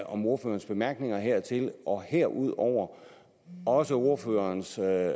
om ordførerens bemærkninger hertil og herudover også ordførerens jeg